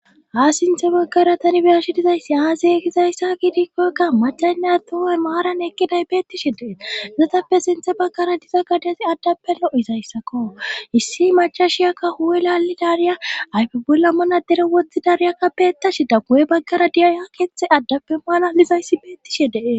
ha sinthe baggaratanibershi dizayssi aazaye kizayssa kidikkokka macaynna tuman maaran ekkiday beettishe dee zotappe sinthe baggara diza gadasi addappe lo7izayssakko issi macashiyakka huwe lali daaniya ayfe bolla mana dere wothi dariyakka peettashe dagu7e baggara diya ha keeththe addappe maana lizayssi beettishe dee